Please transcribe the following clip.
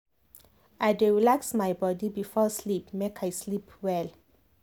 i dey relax my body before sleep make i sleep well.